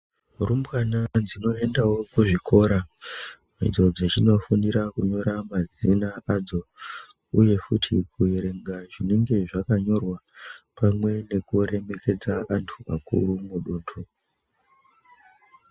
Varumbwana toendawo kuzvikora kodzidza nekufundira kunyora mazina adzo uye futi kuerenga zvinenge zvakanyorwa pamwe nekuremeredza antu akuru muduntu .